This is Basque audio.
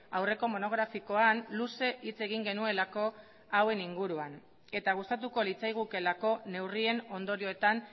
aurreko monografikoan luze hitz egin genuelako hauen inguruan eta gustatuko litzaigukeelako neurrien ondorioetan